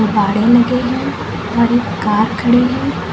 गाड़ी लगे है कार खड़ी है।